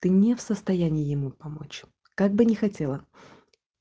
ты не в состоянии ему помочь как бы не хотела